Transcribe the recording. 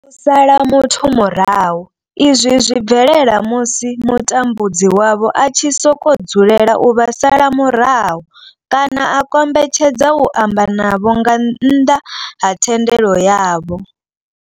U sala muthu murahu izwi zwi bvelela musi mutambudzi wavho a tshi sokou dzulela u vha sala murahu kana a kombetshedza u amba na vhone nga nnḓa ha thendelo yavho.